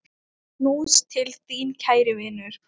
Knús til þín, kæri vinur.